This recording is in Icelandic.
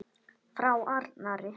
Frá Arnari!